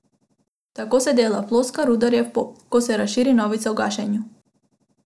Tako se dela, ploska rudarjev pob, ko se razširi novica o gašenju.